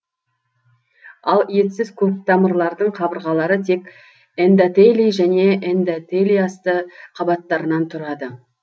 ал етсіз көктамырлардың қабырғалары тек эндотелий және эндотелийасты қабаттарынан тұрады